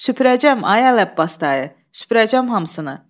Süpürəcəm, ay Əli Abbas dayı, süpürəcəm hamısını.